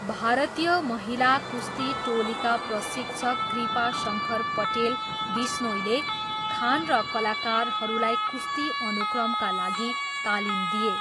भारतीय महिला कुस्ती टोलीका प्रशिक्षक कृपा शङ्कर पटेल बिस्नोईले खान र कलाकारहरूलाई कुस्ती अनुक्रमका लागि तालिम दिए।